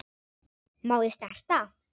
Má ég snerta?